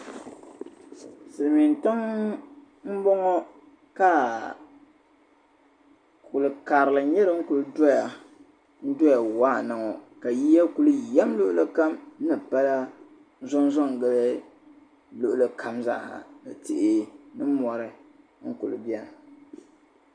Silimin' tiŋa m-bɔŋɔ ka kul' karili nyɛ din kuli dɔya waa na ŋɔ ka yiya kuli yam luɣuli kam zaa ha ni pala zɔnzo n-gili luɣuli kam zaa ha ni tihi ni mɔri n-kuli beni